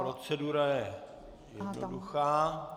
Procedura je jednoduchá.